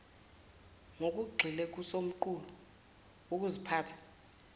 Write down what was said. ngokugxile kusomqulu wokuziphatha